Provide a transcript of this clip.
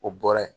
O bɔra yen